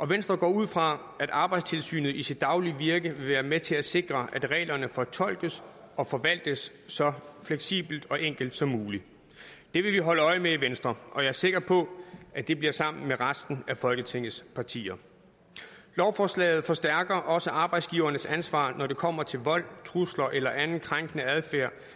og venstre går ud fra at arbejdstilsynet i sit daglige virke vil være med til at sikre at reglerne fortolkes og forvaltes så fleksibelt og enkelt som muligt det vil vi holde øje med i venstre og jeg er sikker på at det bliver sammen med resten af folketingets partier lovforslaget forstærker også arbejdsgivernes ansvar når det kommer til vold trusler eller anden krænkende adfærd